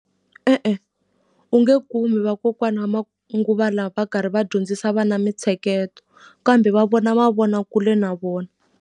E-e, u nge kumi vakokwani va manguva lawa va karhi va dyondzisa vana mintsheketo, kambe va vona mavonakule na vona.